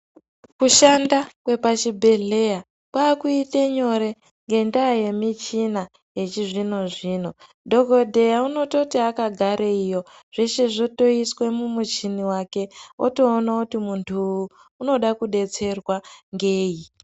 Kushanda kwepachibhedhlera kwakuita nyore ngenyaya yemichina yechizvino zvino dhokodheya anototi akagareyo zveshe zvotoiswa mumuchini wake otoona muntu uyu unoda kudetserwa ngei.